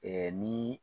ni